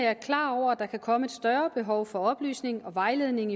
er klar over at der kan komme et større behov for oplysning og vejledning